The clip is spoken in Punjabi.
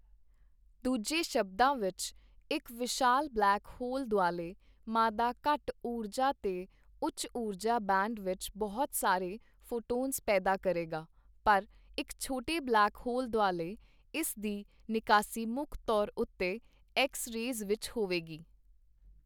ਦੂਜੇ ਸ਼ਬਦਾਂ ਵਿੱਚ, ਇੱਕ ਵਿਸ਼ਾਲ ਬਲੈਕ ਹੋਲ ਦੁਆਲੇ ਮਾਦਾ ਘੱਟ ਊਰਜਾ ਤੇ ਉੱਚ ਊਰਜਾ ਬੈਂਡ ਵਿੱਚ ਬਹੁਤ ਸਾਰੇ ਫ਼ੋਟੋਨਜ਼ ਪੈਦਾ ਕਰੇਗਾ, ਪਰ ਇੱਕ ਛੋਟੇ ਬਲੈਕ ਹੋਲ ਦੁਆਲੇ, ਇਸ ਦੀ ਨਿਕਾਸੀ ਮੁੱਖ ਤੌਰ ਉੱਤੇ ਐੱਕਸ ਰੇਅਜ਼ ਵਿੱਚ ਹੋਵੇਗੀ।